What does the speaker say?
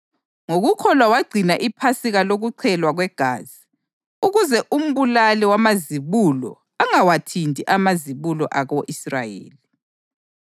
Ngokukholwa wagcina iPhasika lokuchelwa kwegazi, ukuze umbulali wamazibulo angawathinti amazibulo ako-Israyeli.